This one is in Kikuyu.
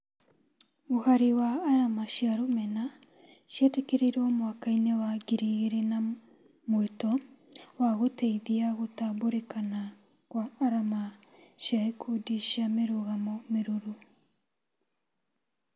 Mũhari wa arama cia rũmena cĩetĩkĩrirwo mwaka-inĩ wa ngiri igĩri na mwĩto wa gũteithia gũtambũrĩkana kwa arama cia ikundi cia mĩrũgamo mĩrũrũ